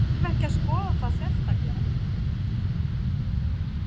Þarf ekki að skoða það sérstaklega?